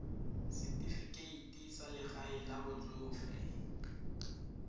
setifikeite sa legae la batsofe